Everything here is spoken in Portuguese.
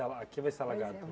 Ah Aqui vai ser alagado.